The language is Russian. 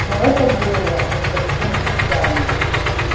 ну это была не совсем случайность